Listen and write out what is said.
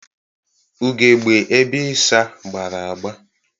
Ugegbe ebe ịsa gbara agba.